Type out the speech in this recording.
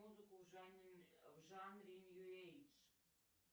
музыку в жанре нью эйдж